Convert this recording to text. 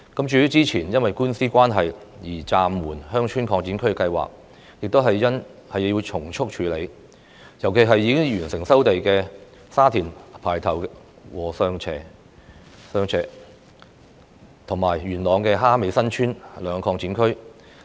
至於之前因為官司關係而暫緩的鄉村擴展區計劃，也要從速處理，尤其是已經完成收地的沙田排頭和上禾輋，以及元朗蝦尾新村兩個鄉村擴展區。